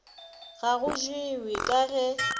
ga go jewe ka ge